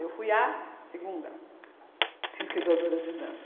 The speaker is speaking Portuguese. Eu fui a segunda pesquisadora de dança.